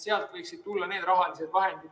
Sealt võiksid tulla need rahalised vahendid.